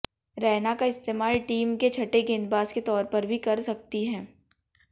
रैना का इस्तेमाल टीम के छठे गेंदबाज के तौर पर भी कर सकती है